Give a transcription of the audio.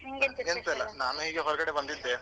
ನಾನೀಗ ಹೊರಗಡೆ ಬಂದಿದ್ದೇ.